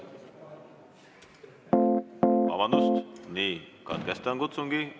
Vabandust, katkestan kutsungi!